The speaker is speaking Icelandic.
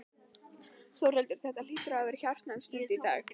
Þórhildur, þetta hlýtur að hafa verið hjartnæm stund í dag?